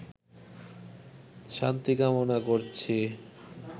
শান্তি কামনা করছি